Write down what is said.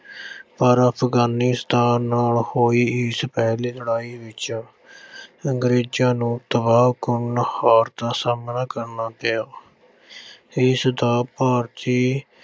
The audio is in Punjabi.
ਪਰ ਅਫ਼ਗਾਨੀਸਤਾਨ ਨਾਲ ਹੋਈ ਇਸ ਪਹਿਲੀ ਲੜਾਈ ਵਿੱਚ ਅੰਗਰੇਜ਼ਾਂ ਨੂੰ ਤਬਾਹਕੁੰਨ ਹਾਰ ਦਾ ਸਾਹਮਣਾ ਕਰਨਾ ਪਿਆ। ਇਸ ਦਾ ਭਾਰਤੀ